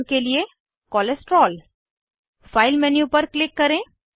उदाहरण के लिए कोलेस्टेरोल फाइल मेन्यू पर क्लिक करें